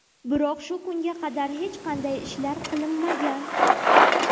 Biroq shu kunga qadar hech qanday ishlar qilinmagan.